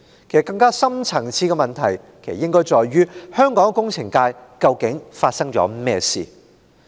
更深層次的問題是：香港工程界究竟發生了甚麼事？